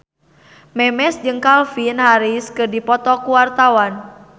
Memes jeung Calvin Harris keur dipoto ku wartawan